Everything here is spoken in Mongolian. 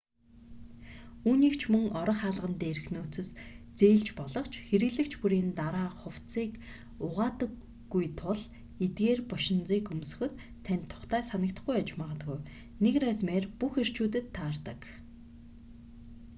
үүнийг ч мөн орох хаалган дээрх нөөцөөс зээлж болох ч хэрэглэгч бүрийн дараа хувцсыг угаадаггүй тул эдгээр бошинзыг өмсөхөд танд тухтай санагдахгүй байж магадгүй нэг размер бүх эрчүүдэд таардаг